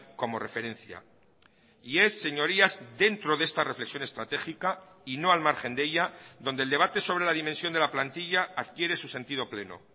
como referencia y es señorías dentro de esta reflexión estratégica y no al margen de ella donde el debate sobre la dimensión de la plantilla adquiere su sentido pleno